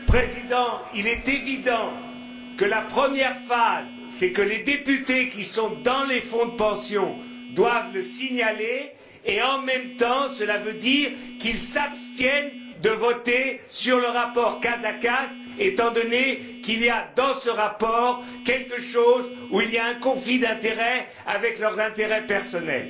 Monsieur le Président, il est évident que la première phase, c'est que les députés qui sont dans le fonds de pension doivent le signaler, et en même temps, cela veut dire qu'ils s'abstiennent de voter sur le rapport Casaca étant donné qu'il y a, dans ce rapport, des éléments donnant lieu à un conflit d'intérêts avec leurs intérêts personnels.